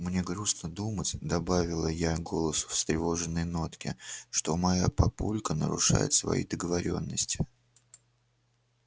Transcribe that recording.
мне грустно думать добавила я голосу встревоженные нотки что моя папулька нарушает свои договорённости